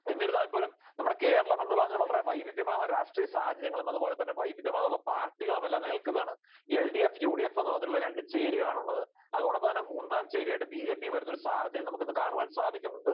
എന്നിരുന്നാൽപോലും നമ്മുടെ കേരളം എന്ന് പറയുന്നത് വല്ല വൈവിധ്യമാർന്ന രാഷ്ട്രീയ സാഹചര്യങ്ങളും അതുപോലെതന്നെ വൈവിധ്യമാർന്ന പാർട്ടികളും എല്ലാം നിലനിൽക്കുന്നതാണ്. എൽഡിഎഫ്, യൂഡിഎഫ് എന്ന് പറഞ്ഞിട്ടുള്ള രണ്ടു ചേരികൾ ആണുള്ളത്. അതോടൊപ്പം തന്നെ മൂന്നാം ചേരിയായിട്ട് ബിജെപിയും വരുന്ന ഒരു സാഹചര്യം നമുക്കിന്ന് കാണുവാൻ സാധിക്കുന്നുണ്ട്.